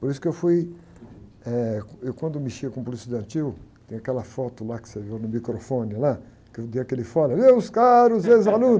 Por isso que eu fui... Eh, eu quando mexia com o Polícia Estudantil, tem aquela foto lá que você viu no microfone, lá, que eu dei aquele fora, meus caros ex-alunos.